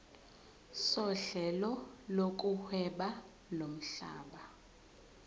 sohlelo lokuhweba lomhlaba